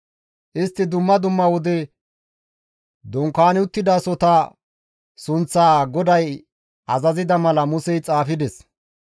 istti dumma dumma wode dunkaani uttidasohota sunththaa GODAY azazida mala Musey xaafides.